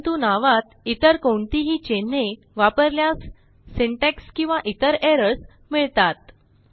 परंतु नावात इतर कोणतीही चिन्हे वापरल्यास सिंटॅक्स किंवा इतर एरर्स मिळतात